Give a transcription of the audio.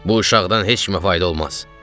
Bu uşaqdan heç kimə fayda olmaz.